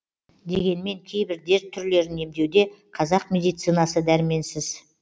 дегенмен кейбір дерт түрлерін емдеуде қазақ медицинасы дәрменсіз